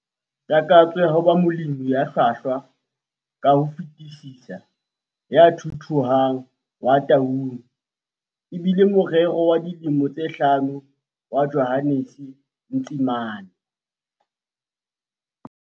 Takatso ya ho ba molemi ya hlwahlwa ka ho fetisisa ya thuthuhang wa Taung, e bile morero wa dilemo tse hlano wa Johannes Ntsimane.